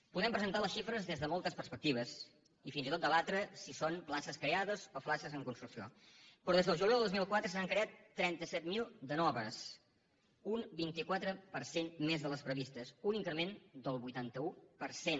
podem presentar les xifres des de moltes perspectives i fins i tot debatre si són places creades o places en construcció però des del juliol del dos mil quatre se n’han creat trenta set mil de noves un vint quatre per cent més de les previstes un increment del vuitanta un per cent